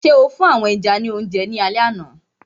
So fún àwọn ẹja ní oúnjẹ ní alẹ àná?